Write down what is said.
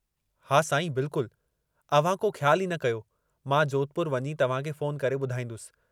हा साईं बिल्कुल, अव्हां को ख्यालु ई न कयो मां जोधपुर वञी तव्हांखे फ़ोन करे ॿुधाईंदुसि।